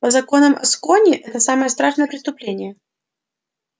по законам аскони это самое страшное преступление